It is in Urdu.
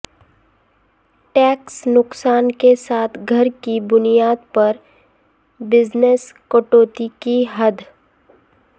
ٹیکس نقصان کے ساتھ گھر کی بنیاد پر بزنس کٹوتی کی حد